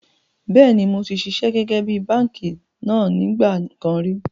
Bẹ́ẹ̀ni moti ṣiṣẹ́ gẹ́gẹ́ bí báànkì náà nígbà kan ríi